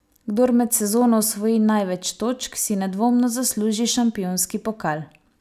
Kdor med sezono osvoji največ točk, si nedvomno zasluži šampionski pokal.